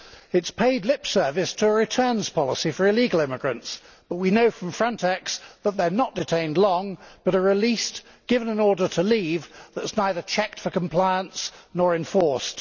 It has paid lip service to a returns policy for illegal immigrants, but we know from Frontex that they are not detained long but are released and given an order to leave that is neither checked for compliance nor enforced.